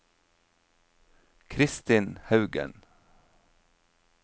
Kristin Haugen